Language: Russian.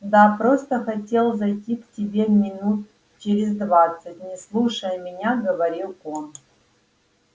да просто хотел зайти к тебе минут через двадцать не слушая меня говорил он